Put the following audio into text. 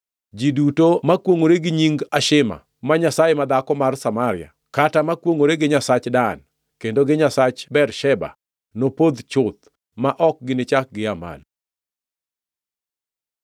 Ji duto makwongʼore gi nying Ashima, ma nyasaye madhako mar Samaria, kata makwongʼore gi nyasach Dan, kendo gi nyasach Bersheba, nopodh chuth, ma ok ginichak gia malo.”